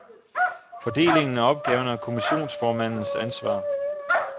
Fordelingen af opgaverne er kommissionsformandens ansvar.